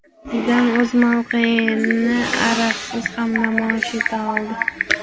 Zidan o‘z mavqeyini Azarsiz ham namoyish eta oldi.